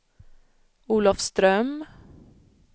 Olofström